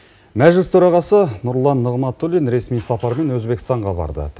мәжіліс төрағасы нұрлан нығматулин ресми сапармен өзбекстанға барды